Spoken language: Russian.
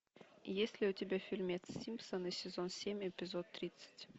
есть ли у тебя фильмец симпсоны сезон семь эпизод тридцать